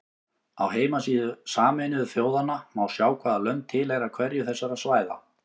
Á heimasíðu Sameinuðu þjóðanna má sjá hvaða lönd tilheyra hverju þessara svæða.